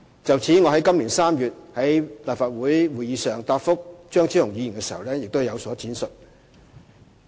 就此，我於今年3月在立法會會議上答覆張超雄議員時已有所闡述。